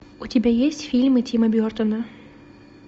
у тебя есть фильмы тима бертона